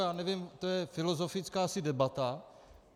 já nevím, to je filozofická asi debata.